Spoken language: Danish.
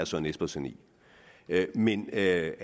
søren espersen i men at